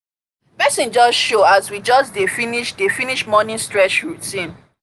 person just show as we just dey finish dey finish morning stretch routine